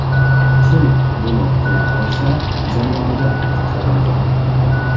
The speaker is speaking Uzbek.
Kim buni qila olsa, jamoada qoladi.